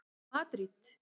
Madríd